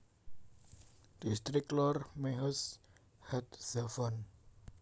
Dhistrik Lor Mehoz HaTzafon